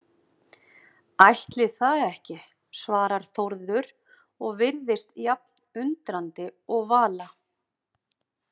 Ætli það ekki, svarar Þórður og virðist jafn undrandi og Vala.